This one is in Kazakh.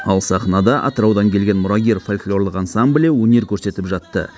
ал сахнада атыраудан келген мұрагер фольклорлық ансамблі өнер көрсетіп жатты